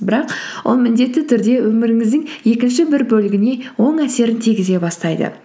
бірақ ол міндетті түрде өміріңіздің екінші бір бөлігіне оң әсерін тигізе бастайды